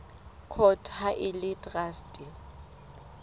court ha e le traste